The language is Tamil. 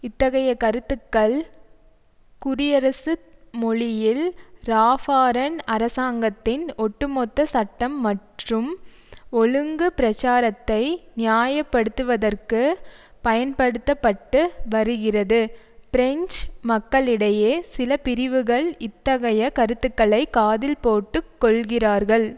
இத்தகைய கருத்துக்கள் குடியரசு மொழியில் ராஃபாரன் அரசாங்கத்தின் ஒட்டுமொத்த சட்டம் மற்றும் ஒழுங்கு பிரச்சாரத்தை நியாய படுத்துவதற்கு பயன்படுத்த பட்டு வருகிறது பிரெஞ்சு மக்களிடையே சில பிரிவுகள் இத்தகைய கருத்துக்களை காதில் போட்டு கொள்கிறார்கள்